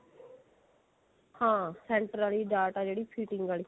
ਹਾਂ center ਅਲੀ ਡਾਟ ਆ ਜਿਹੜੀ fitting ਆਲੀ